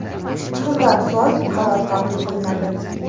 Shundan so‘ng qaror qabul qilinadi.